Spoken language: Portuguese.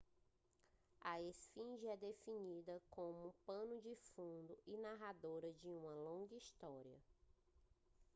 a esfinge é definida como pano de fundo e narradora de uma longa história